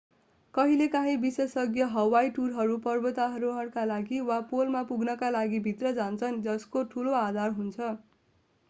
कहिलेकाहीँ विशेषज्ञ हवाई टुरहरू पर्वतारोहणका लागि वा पोलमा पुग्नका लागिभित्र जान्छन् जसको ठूलो आधार हुन्छ